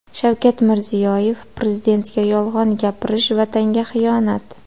Shavkat Mirziyoyev: Prezidentga yolg‘on gapirish Vatanga xiyonat.